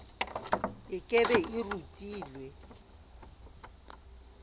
e ke be e rutile